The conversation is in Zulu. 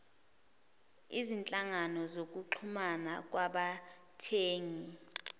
izinhlangano zokuxhumana kwabathengi